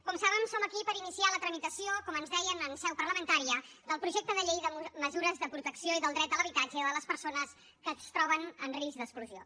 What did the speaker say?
com saben som aquí per iniciar la tramitació com ens deien en seu parlamentària del projecte de llei de mesures de protecció i del dret a l’habitatge de les persones que es troben en risc d’exclusió